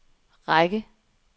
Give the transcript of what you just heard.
række